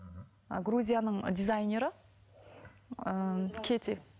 грузияның дизайнері ыыы кете